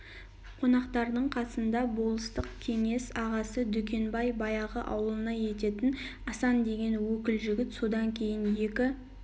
қонақтардың касында болыстық кеңес ағасы дүкенбай баяғы ауылнай ететін асан деген өкіл жігіт содан кейін екі